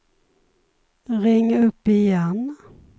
ring upp igen